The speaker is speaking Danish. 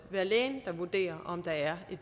være lægen der vurderer om der er